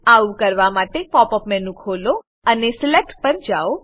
આવું કરવા માટે પોપ અપ મેનુ ખોલો અને સિલેક્ટ પર જાવ